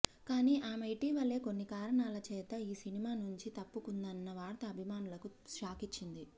కానీ ఆమె ఇటీవలే కొన్ని కారణాల చేత ఈ సినిమా నుంచి తప్పుకుందన్న వార్త అభిమానులకు షాకిచ్చింది